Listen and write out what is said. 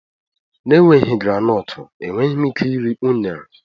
na-enweghị granotu, enweghị m ike iri unere